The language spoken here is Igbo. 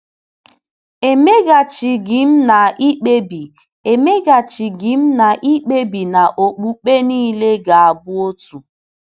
Emeghachighị m, na-ekpebi Emeghachighị m, na-ekpebi na okpukpe niile ga-abụ otu.